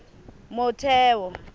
motheo